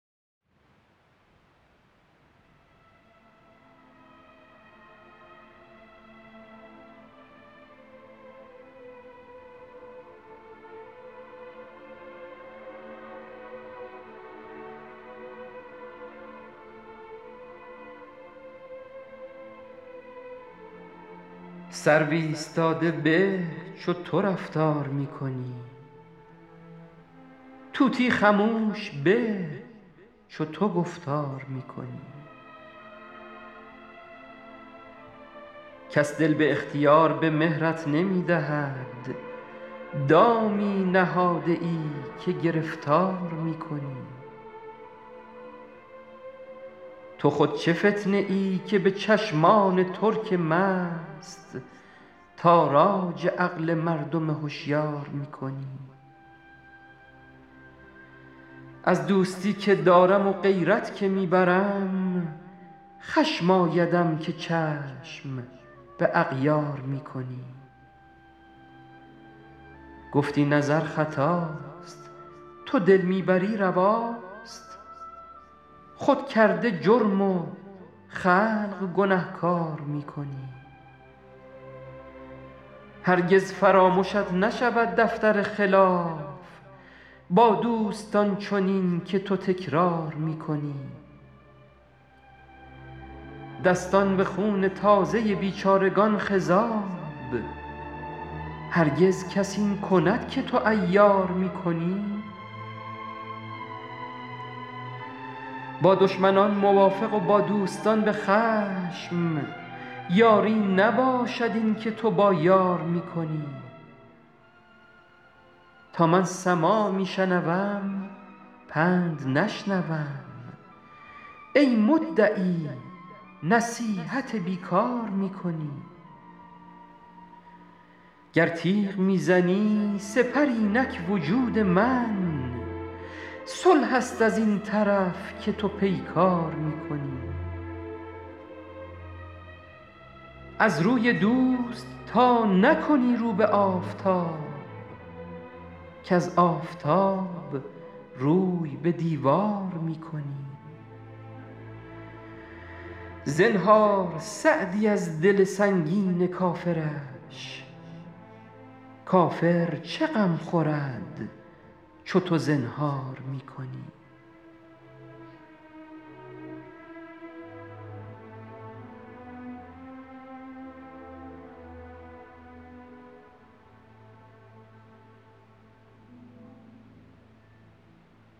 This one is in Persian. سرو ایستاده به چو تو رفتار می کنی طوطی خموش به چو تو گفتار می کنی کس دل به اختیار به مهرت نمی دهد دامی نهاده ای که گرفتار می کنی تو خود چه فتنه ای که به چشمان ترک مست تاراج عقل مردم هشیار می کنی از دوستی که دارم و غیرت که می برم خشم آیدم که چشم به اغیار می کنی گفتی نظر خطاست تو دل می بری رواست خود کرده جرم و خلق گنهکار می کنی هرگز فرامشت نشود دفتر خلاف با دوستان چنین که تو تکرار می کنی دستان به خون تازه بیچارگان خضاب هرگز کس این کند که تو عیار می کنی با دشمنان موافق و با دوستان به خشم یاری نباشد این که تو با یار می کنی تا من سماع می شنوم پند نشنوم ای مدعی نصیحت بی کار می کنی گر تیغ می زنی سپر اینک وجود من صلح است از این طرف که تو پیکار می کنی از روی دوست تا نکنی رو به آفتاب کز آفتاب روی به دیوار می کنی زنهار سعدی از دل سنگین کافرش کافر چه غم خورد چو تو زنهار می کنی